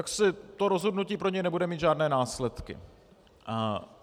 A to rozhodnutí pro něj nebude mít žádné následky.